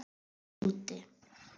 Mamma er úti.